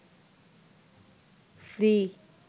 free